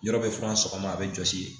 Yɔrɔ bɛ fɔ sɔgɔma a bɛ jɔsi ye